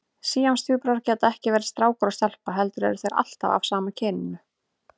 Síamstvíburar geta ekki verið strákur og stelpa heldur eru þeir alltaf af sama kyninu.